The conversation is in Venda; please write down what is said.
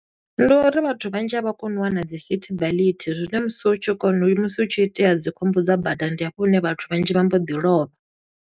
Ndi uri vhathu vhanzhi, a vha koni u wana dzi sithi beḽethi, zwine musi u tshi kona uya musi hu tshi itea dzi khombo dza badani, ndi hafho hune vhathu vhanzhi vha mbo ḓi lovha.